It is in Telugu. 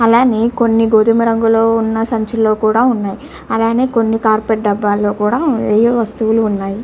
అలాగే కొని గోదాం రంగులో ఉన సంచుల్లో కూడా వస్తువులు ఉన్నాయ్. అలాగే డబ్బాలో కూడా ఉన్నాయ్.